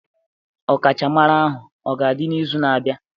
Ọkachamara ahụ ọ ga-adị n'izu na-abịa?